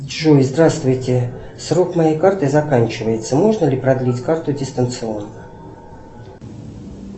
джой здравствуйте срок моей карты заканчивается можно ли продлить карту дистанционно